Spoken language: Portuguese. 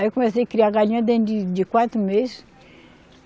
Aí eu comecei criar galinha dentro de, de quatro meses.